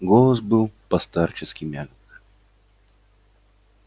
голос был по-старчески мягок